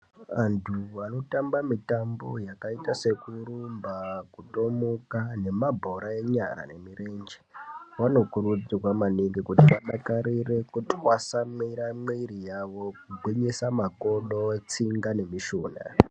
Antu ano tamba mitambo yakaita seku rumba kutomuka nema bhora enyara ne mirenje vano kurudzirwa maningi kuti vadakarire kutwasamwira mwiri yavo kugwinyisa makodo tsinga ne mishunha.